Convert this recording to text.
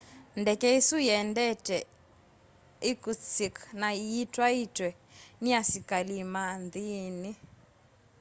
ndeke isu iendete irkutsk na yitwaitwe ni asikalima nthini